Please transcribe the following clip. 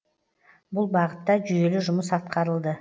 бұл бағытта жүйелі жұмыс атқарылды